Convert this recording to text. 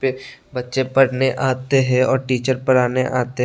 बच्चे पढ़ने आते हैं और टीचर पढ़ाने आते हैं।